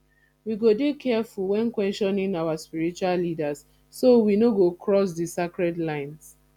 we go dey careful when questioning our spiritual leaders so we no go cross di sacred lines